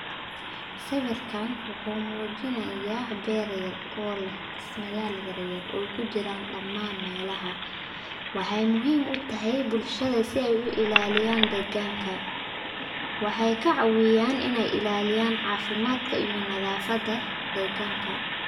Sawirkan wuxuu muujinaya beer yar oo leh dhismayal yar yar okujiran dhamaan melaha waxay muhiim utahay bulshada si ay u ilaliyana deegganka, waxay kaacaawin inay illaliyan caafimadka iyo nadafada deegganka